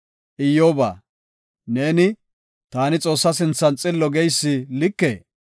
“Iyyoba, neeni, ‘Taani Xoossaa sinthan xillo’ geysi likee?